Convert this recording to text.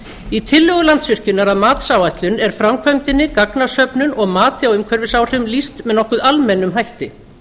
í tillögu landsvirkjunar að matsáætlun er framkvæmdinni gagnasöfnun og mati á umhverfisáhrifum lýst með nokkuð almennum hætti